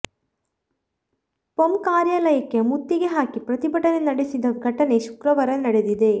ಪಂ ಕಾರ್ಯಾಲಯಕ್ಕೆ ಮುತ್ತಿಗೆ ಹಾಕಿ ಪ್ರತಿಭಟನೆ ನಡೆಸಿದ ಘಟನೆ ಶುಕ್ರವಾರ ನಡೆದಿದೆ